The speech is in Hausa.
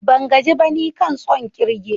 Ban gaji ba, nikan tson kirge.